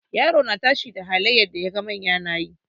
Yaro na tashi da irin halayen da yaga manya nayi.